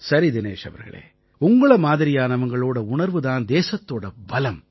சரி தினேஷ் அவர்களே உங்களை மாதிரியானவங்களோட உணர்வு தான் தேசத்தோட பலம்